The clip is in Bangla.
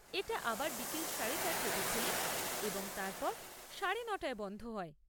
এটা আবার বিকেল সাড়ে চারটেতে খোলে এবং তারপর সাড়ে নটায় বন্ধ হয়।